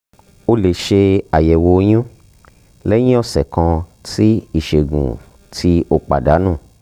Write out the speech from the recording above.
o le ṣe ayẹwo oyun lẹhin ọsẹ kan ti isẹgun ti o padanu